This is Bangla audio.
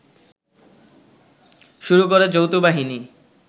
শুরু করে যৌথবাহিনী